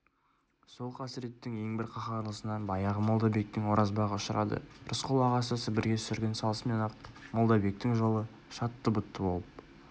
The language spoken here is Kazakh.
сол қасіреттің ең бір қаһарлысына баяғы молдабектің оразбағы ұшырады рысқұл ағасы сібірге сүргін салысымен-ақ молдабектің жолы шатты-бұтты болып